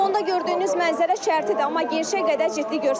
Fonda gördüyünüz mənzərə şərtidir, amma gerçəyə qədər ciddi görsənir.